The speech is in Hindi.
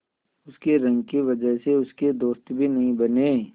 उसकी रंग की वजह से उसके दोस्त भी नहीं बने